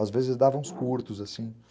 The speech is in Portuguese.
Às vezes dava uns curtos assim.